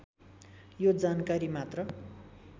यो जानकारी मात्र